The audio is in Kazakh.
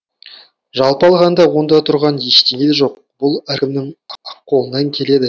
жалпы алғанда онда тұрған ештеңе де жоқ бұл әркімнің ақ қолынан келеді